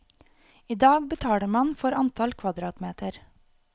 I dag betaler man for antall kvadratmeter.